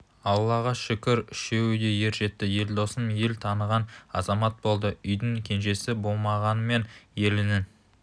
аллаға шүкір үшеуі де ер жетті елдосым ел таныған азамат болды үйдің кенжесі болғанымен елінің